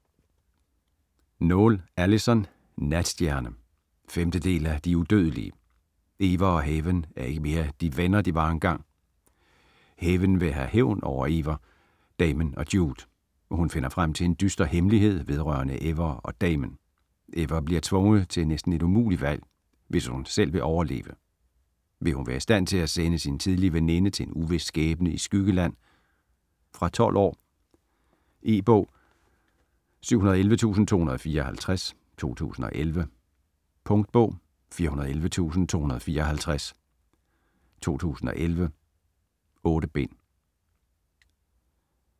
Noël, Alyson: Natstjerne 5. del af De udødelige. Ever og Haven er ikke mere de venner, de engang var. Haven vil have hævn over Ever, Damen og Jude. Hun finder frem til en dyster hemmelighed vedrørende Ever og Damen. Ever bliver tvunget til et næsten umuligt valg, hvis hun selv vil overleve. Vil hun være i stand til at sende sin tidligere veninde til en uvis skæbne i Skyggeland? Fra 12 år. E-bog 711254 2011. Punktbog 411254 2011. 8 bind.